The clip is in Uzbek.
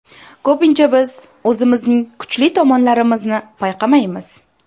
Ko‘pincha biz o‘zimizning kuchli tomonlarimizni payqamaymiz.